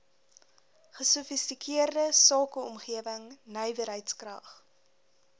gesofistikeerde sakeomgewing nywerheidskrag